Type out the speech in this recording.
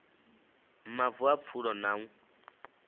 mavu a pfulo na u